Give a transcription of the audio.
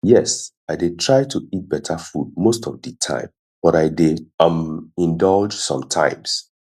yes i dey try to eat beta food most of di time but i dey um indulge sometimes